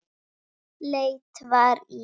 Forðum saxað fang í hvelli.